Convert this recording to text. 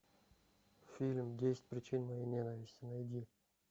фильм десять причин моей ненависти найди